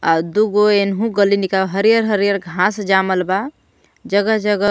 आ दूगो एनहु गलीनिका हरियर-हरियर घास जामल बा जगह-जगह--